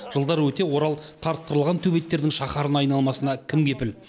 жылдар өте орал қартқырлығын төбеттердің шахарына айналмасына кім кепіл